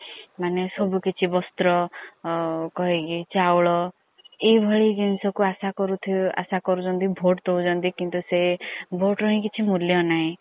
ମାନେ ସବୁକିଛି ବସ୍ତ୍ର କହିକି ଚାଉଳ ଏ ଭଲି ଜିନିସ କୁ ଆସା କରୁଛନ୍ତି vote ଦୌଛନ୍ତି କିନ୍ତୁ ସେ vote ର ହିଁ କିଛି ମୁଲଯ ନାହି।